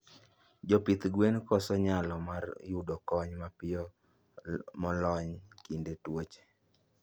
Jopidh gwen koso nyalo mar yudo kony mapiyo molony kinde tuoche